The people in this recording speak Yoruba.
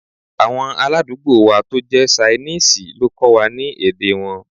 Awọn aládùúgbò wa to jẹ̀ sainiisi lo kọ́ wa ni èdè wọn